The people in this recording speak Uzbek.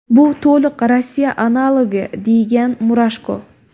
Bu to‘liq Rossiya analogi”, degan Murashko.